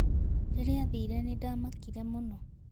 Wakati alienda, nlishtuka sana.